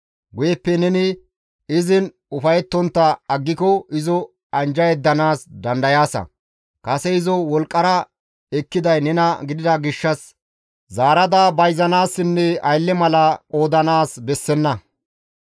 Guyeppe neni izin ufayettontta aggiko izo anjja yeddanaas dandayaasa; kase izo wolqqara ekkiday nena gidida gishshas zaarada bayzanaassinne aylle mala qoodanaas bessenna.